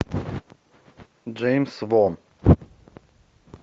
джеймс вон